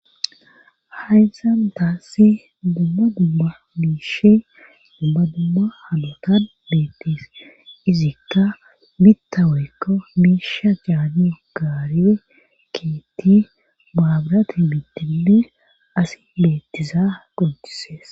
Hayssantassi dumma dumma miishe dumma dumma halotan beettis izikka bitta weykko miisha caanu gaarie keetti baabrati bittile asi leettiza qontisees.